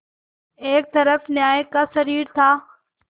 एक तरफ न्याय का शरीर था